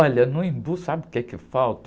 Olha, no, sabe o quê que falta?